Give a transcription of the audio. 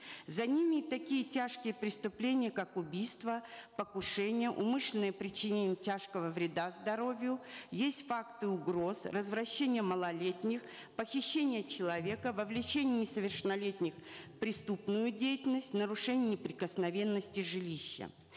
за ними такие тяжкие преступления как убийства покушения умышленное причинение тяжкого вреда здоровью есть факты угроз развращение малолетних похищение человека вовлечение несовершеннолетних в преступную деятельность нарушение неприкосновенности жилища